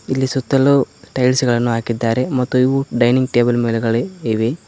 ಈ ಸುತ್ತಲೂ ಟೈಲ್ಸ್ ಗಳನ್ನು ಹಾಕಿದ್ದಾರೆ ಮತ್ತೆ ಇವು ಡೈನಿಂಗ್ ಟೇಬಲ್ ಮೇಲ್ಗಡೆ ಇವೆ.